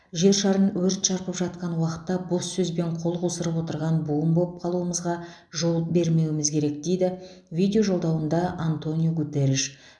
жер шарын өрт шарпып жатқан уақытта бос сөзбен қол қусырып отырған буын боп қалуымызға жол бермеуіміз керек дейді видежолдауында антониу гутерриш